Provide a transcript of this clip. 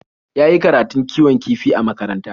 Ya yi karatun kiwon kifi a makaranta.